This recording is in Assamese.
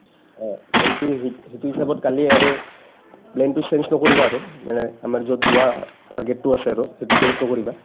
অ সিটো সিটো হিচাপত কালি আৰু plan টো change নকৰিবা আৰু মানে আমাৰ য'ত যোৱা target টো আছে আৰু সেইটো change নকৰিবা